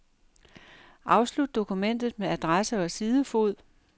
Afslut dokumentet med adresse og sidefod.